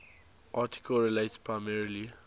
article relates primarily